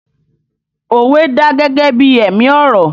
Òwe dà gẹ́gẹ́ bí ẹ̀mí ọ̀rọ̀